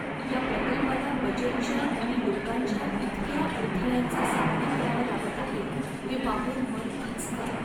या प्रकल्पाला बजेटच्या आणि लोकांच्या इतक्या अडथळ्यांचा सामना करावा लागत आहे हे पाहून मन खचतंय.